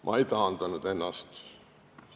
Ma ei taandanud ennast.